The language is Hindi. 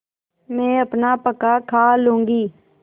मैं अपना पकाखा लूँगी